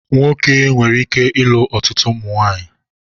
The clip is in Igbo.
Nwoke nwere ike ịlụ ọtụtụ ụmụnwaanyị.